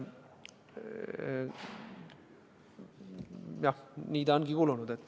Jah, nii ta ongi kulunud.